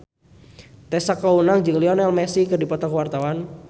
Tessa Kaunang jeung Lionel Messi keur dipoto ku wartawan